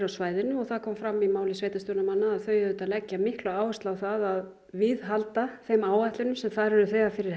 á svæðinu og það kom fram í máli sveitarstjórnarmanna að þau leggja mikla áherslu á það að viðhalda þeim áætlunum sem þar eru þegar fyrir